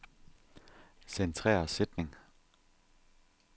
Centrer sætning.